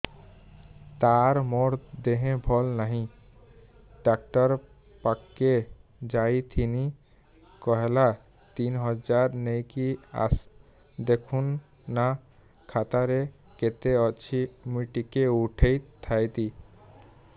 ତାର ମାର ଦେହେ ଭଲ ନାଇଁ ଡାକ୍ତର ପଖକେ ଯାଈଥିନି କହିଲା ତିନ ହଜାର ନେଇକି ଆସ ଦେଖୁନ ନା ଖାତାରେ କେତେ ଅଛି ମୁଇଁ ଟିକେ ଉଠେଇ ଥାଇତି